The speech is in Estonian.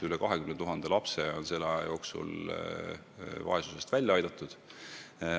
Üle 20 000 lapse on selle aja jooksul vaesusest välja aidatud.